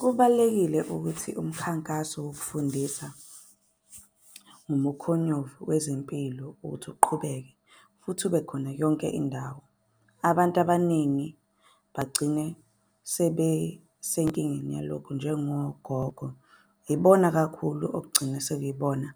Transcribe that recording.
Kubalulekile ukuthi umkhankaso wokufundisa ngomukhonyovu wezempilo ukuthi uqhubeke futhi ube khona yonke indawo. Abantu abaningi bagcine sebesenkingeni yalokhu njengogogo. Ibona kakhulu okugcina sekuyibona